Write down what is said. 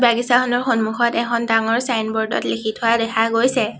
আগিচাৰখনৰ সন্মুখত এখন ডাঙৰ চাইনব'ৰ্ড ত লিখি থোৱা দেখা গৈছে।